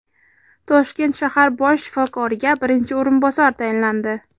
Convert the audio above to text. Toshkent shahar bosh shifokoriga birinchi o‘rinbosar tayinlandi.